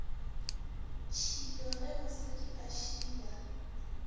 tšhilo ge mosadi a šila